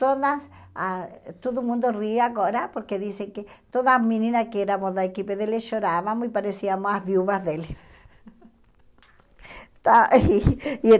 Todas a... Todo mundo ri agora porque dizem que toda menina que éramos da equipe dele, chorávamos e parecíamos as viúvas dele. Está e